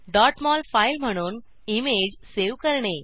mol file म्हणून image save करणे